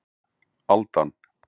Aldan